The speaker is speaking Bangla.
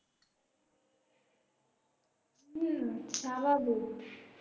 হম স্বাভাবিক